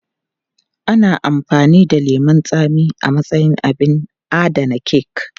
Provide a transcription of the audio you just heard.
Ana amfani da lemun tsami a matsayin abin adana kek.